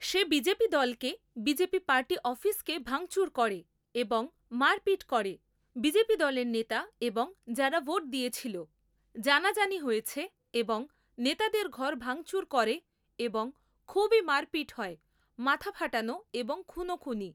সে BJP দলকে BJP party অফিসকে ভাঙচুর করে এবং মারপিট করে বিজেপি দলের নেতা এবং যারা ভোট দিয়েছিল। জানাজানি হয়ছে এবং নেতাদের ঘর ভাঙচুর করে এবং খুবই মারপিট হয়, মাথা ফাটানো এবং খুনোখুনি